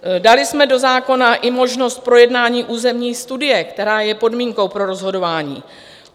Dali jsme do zákona i možnost projednání územní studie, která je podmínkou pro rozhodování.